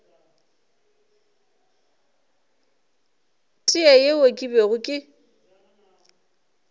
tee yeo ke bego ke